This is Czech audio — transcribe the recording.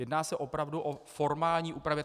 Jedná se opravdu o formální úpravy.